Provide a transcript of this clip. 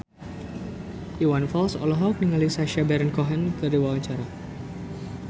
Iwan Fals olohok ningali Sacha Baron Cohen keur diwawancara